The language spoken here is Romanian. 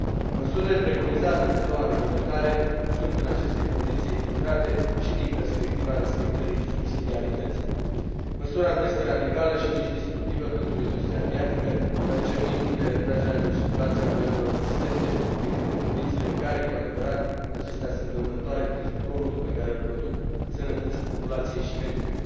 Măsurile preconizate de noua reglementare sunt, în aceste condiții, echilibrate și din perspectiva respectării subsidiarității. Măsura nu este radicală și nici destructivă pentru industria aviatică, deoarece nu impune retragerea din circulație a avioanelor existente decât în condițiile în care, cu adevărat, acestea sunt dăunătoare, prin zgomotul pe care îl produc, sănătății populației și mediului.